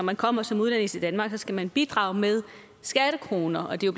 man kommer som udlænding til danmark skal man bidrage med skattekroner og det er